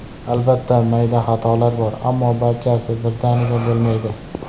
Albatta mayda xatolar bor, ammo barchasi birdaniga bo‘lmaydi.